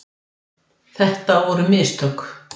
Þetta voru mistök.